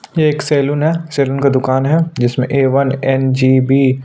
ये एक सलोन है। सलोन का दुकान है जिसमें ए. वन. एन.जी.बी